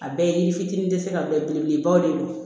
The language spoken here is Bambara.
A bɛɛ ye yiri fitinin tɛ se ka bɛɛ belebelebaw de don